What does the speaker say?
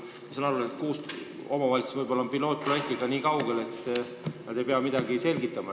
Ma saan aru, et kuus omavalitsust on võib-olla pilootprojektiga nii kaugel, et nad ei pea rohkem midagi selgitama.